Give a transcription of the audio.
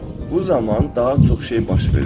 Bu zaman daha çox şey baş verir.